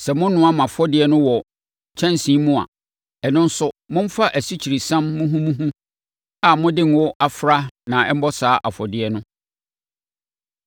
Sɛ monoa mo afɔdeɛ no wɔ kyɛnsee mu a, ɛno nso, momfa asikyiresiam muhumuhu a mode ngo afra na ɛmmɔ saa afɔdeɛ no.